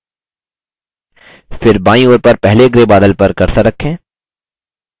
फिर बायीं ओर पर पहले grey बादल पर cursor रखें